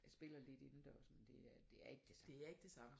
Jeg spiller lidt indendørs men det er det er ikke det samme